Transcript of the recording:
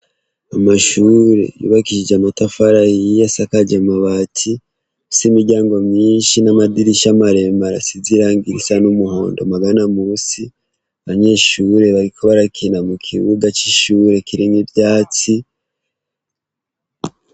Amashure yubakishije amatafara yiye asakaje mabati so imiryango myinshi n'amadirisha maremu arasizirangira isa n'umuhondo magana musi banyeshure bagiko barakina mu kibuga c'ishure kirenge ivyatsi.